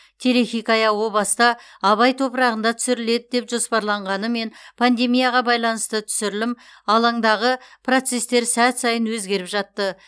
телехикая о баста абай топырағында түсіріледі деп жоспарланғанымен пандемияға байланысты түсірілім аландағы процестер сәт сайын өзгеріп жатты